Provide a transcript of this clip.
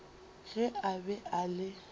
ge a be a le